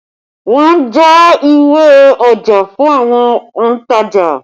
Wọn ń já ìwé ọjà fún àwọn ontaja